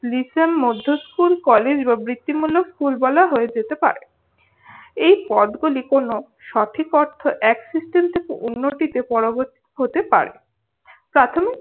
মধ্যস্কুল কলেজ ও বৃত্তিমূলক স্কুল বলা হয়ে যেতে পারে। এই পটগুলি কোনও সঠিক অর্থে এক system থেকে অন্যটিতে পরবর্তী হতে পারে। প্রাথমিক